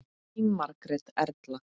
Þín Margrét Erla.